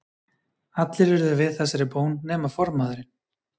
Allir urðu við þessari bón nema formaðurinn.